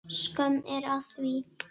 Skömm er að því.